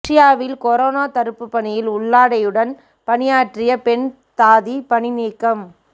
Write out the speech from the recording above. ரஷ்யாவில் கொரோனா தடுப்பு பணியில் உள்ளாடையுடன் பணியாற்றிய பெண் தாதி பணிநீக்கம்